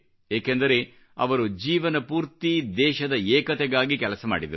ಏಕೆಂದರೆ ಅವರು ಜೀವನಪೂರ್ತಿ ದೇಶದ ಏಕತೆಗಾಗಿ ಕೆಲಸ ಮಾಡಿದರು